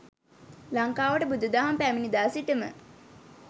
ලංකාවට බුදු දහම පැමිණි දා සිටම